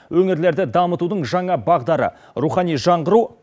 өңірлерді дамытудың жаңа бағдары рухани жаңғыру